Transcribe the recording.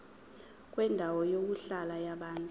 kwendawo yokuhlala yabantu